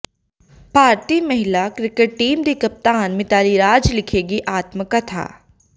ਭਾਰਤੀ ਮਹਿਲਾ cricket team ਦੀ ਕਪਤਾਨ ਮਿਤਾਲੀ ਰਾਜ ਲਿਖੇਗੀ ਆਤਮਕਥਾ